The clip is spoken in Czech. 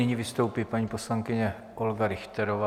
Nyní vystoupí paní poslankyně Olga Richterová.